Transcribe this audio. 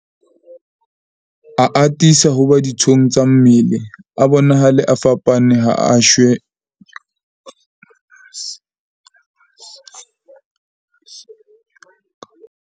A atisa ho ba dithong tsa mmele, a bonahale a fapane ha a she jwa ka maekroskhoupu, hape a phekoleha ha bonolo ho feta a mofetshe o tshwarang batho ba baholo, ho rialo Seegers.